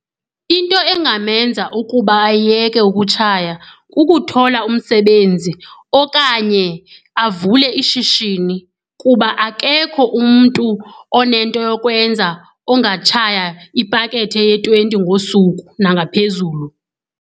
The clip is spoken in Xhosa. Into engamenza ukuba ayeke ukutshaya kukuthola umsebenzi okanye avule ishishini kuba akekho umntu onento yokwenza ongatshaya ipakethe eye-twenty ngosuku nangaphezulu.